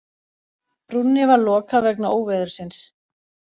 Brúnni var lokað vegna óveðursins